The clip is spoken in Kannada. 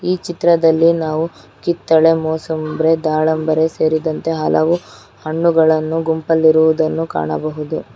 ಈ ಚಿತ್ರದಲ್ಲಿ ನಾವು ಕಿತ್ತಳೆ ಮೋಸಅಂಬ್ರೆ ದಾಳಂಬರೇ ಸೇರಿದಂತೆ ಹಲವು ಹಣ್ಣುಗಳನ್ನು ಗುಂಪಲ್ಲಿರುವುದನ್ನು ಕಾಣಬಹುದು.